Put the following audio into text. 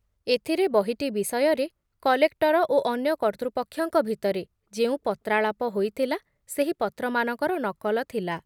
ଏଥିରେ ବହିଟି ବିଷୟରେ କଲେକ୍ଟର ଓ ଅନ୍ୟ କର୍ତ୍ତୃପକ୍ଷଙ୍କ ଭିତରେ ଯେଉଁ ପତ୍ରାଳାପ ହୋଇଥିଲା ସେହି ପତ୍ରମାନଙ୍କର ନକଲ ଥିଲା ।